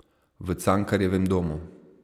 V Cankarjevem domu.